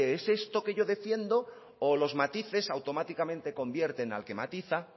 es esto que yo defiendo o los matices automáticamente convierten al que matiza